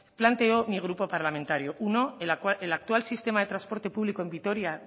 planteó mi grupo parlamentario uno el actual sistema de transporte público en vitoria